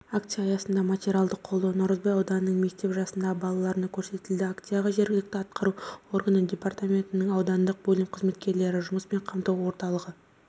акция аясында материалдық қолдау наурызбай ауданының мектеп жасындағы балаларына көрсетілді акцияға жергілікті атқару органы департаментінің аудандық бөлім қызметкерлері жұмыспен қамту орталығы